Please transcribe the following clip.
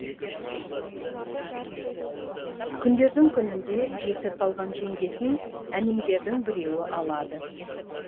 күндердің күнінде жесір қалған жеңгесін әмеңгердің біреуі алады